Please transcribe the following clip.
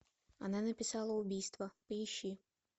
она написала убийство поищи